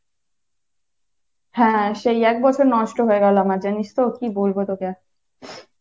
হ্যাঁ সেই একবছর নষ্ট হয়ে গেলো আমার জানিসতো কী বলবো তোকে আর।